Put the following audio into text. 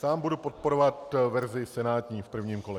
Sám budu podporovat verzi senátní v prvním kole.